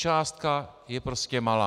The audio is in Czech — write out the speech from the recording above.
Částka je prostě malá.